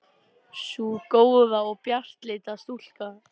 Sú góða og bjartleita stúlka.